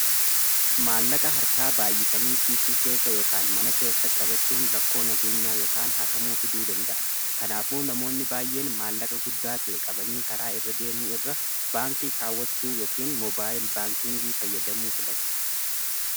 maallaqa harkaa baayyisanii kiisii keessa ykaan mana keessa qabachuun rakkoo nageenyaa ykan haatamuuf hiduu danda'a kanaafuu namoonni baay'een maallaqa guddaa ta'e qabanii karaa irra deemuu irra baankii kaawwachuu yookin moobaayil baankingii fayyadamuu filatu